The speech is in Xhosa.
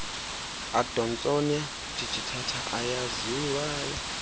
adonsonia digitata eyaziwayo